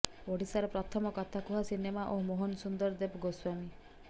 ଓଡିଶାର ପ୍ରଥମ କଥାକୁହା ସିନେମା ଓ ମୋହନ ସୁନ୍ଦର ଦେବ ଗୋସ୍ବାମୀ